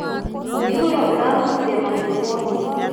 Mũihũro ũrakuire mahiũ mothe.